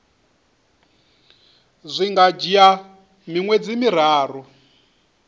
zwi nga dzhia miṅwedzi miraru